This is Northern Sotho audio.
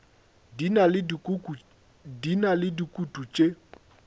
di na le dikutu tše